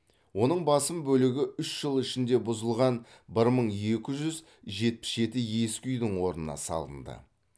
оның басым бөлігі үш жыл ішінде бұзылған бір мың екі жүз жетпіс жеті ескі үйдің орнына салынды